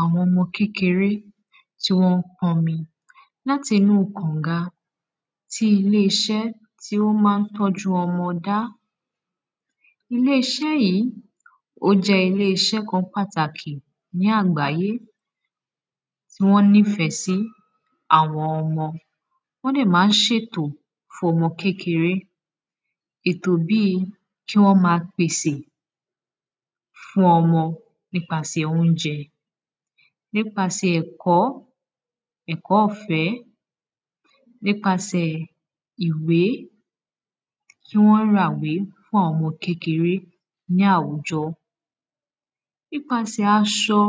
àwọn mọ kékeré tí wọ́n pọmi láti inú kọ̀nga, tí ilé isẹ́ tí wọ́n má n tọ́jú ọmọ dá, ilé isẹ́ yìí, ó jẹ́ ilé iś kan pàtàkì ní àgbáyé tí wọ́n nîfẹ́ sí àwọn ọmọ, wọ́n dẹ̀ má n sètò fún ọmọ kékeré,, ètò bíi kí wọ́n ma pèsè fún ọmọ nípasẹ̀ óúnjẹ, nípasẹ̀ ẹ̀kọ́, ẹ̀kọ́ ọ̀fẹ́ nípasẹ̀ ìwé kí wọ́n ra ìwé fún àwọn kékeré ní àwujọ nípasẹ̀ aṣọ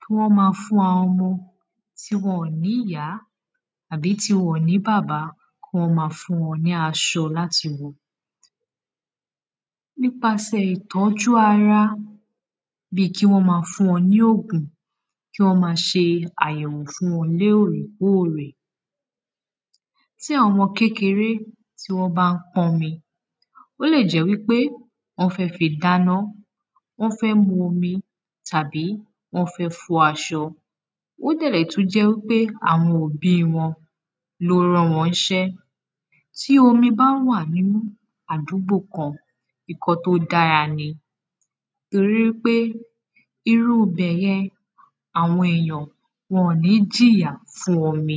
kí wọ́n ma fún ọmọ tí wọn ò ní ìyá àbí tí wọn ò ní bàbá, kí wọ́n fún wọn ní aṣọ láti wọ̀, nípasẹ̀ ìtọ́jú ara bíi kí wọ́n ma fún wọn ní ògùn, kí wọ́n ma se àyẹ̀wò fún wọn lôrèkórè, tí àwọn kékeré, tí wọ́n bá n pọnmi, wọ́n fẹ́ fi dáná,, wọ́n fẹ́ mu omi tàbí wọ́n fẹ̀ fọ aṣọ ó dẹ̀ lè tún jẹ́ wípé àwọn òbí wọn ló ran wọn ní isẹ́, tí omi bá wà ní àdúgbò kan ǹkan tí ó dára ni,, torí wípé irú ibẹ̀yẹn, àwọn èyàn, wọn ò ní jìyà fún omi